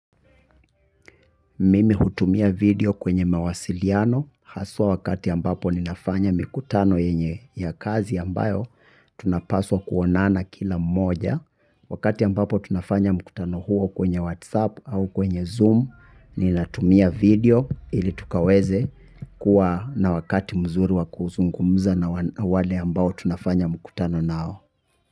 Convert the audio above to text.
Mimi hutumia video kwenye mawasiliano, haswa wakati ambapo ninafanya mikutano yenye ya kazi ambayo, tunapaswa kuonana kila mmoja. Wakati ambapo tunafanya mkutano huo kwenye WhatsApp au kwenye Zoom, ninatumia video ili tukaweze kuwa na wakati mzuri wa kuzungumza na wale ambao tunafanya mkutano nao.